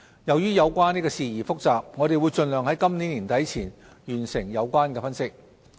由於有關事宜複雜，我們會盡量在今年年底前完成有關分析。